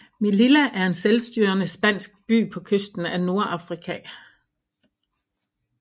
Melilla er en selvstyrende spansk by på kysten af Nordafrika